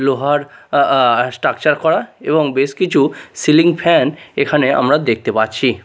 লোহার আ আ স্ট্রাকচার করা এবং বেশ কিছু সিলিং ফ্যান এখানে আমরা দেখতে পারছি।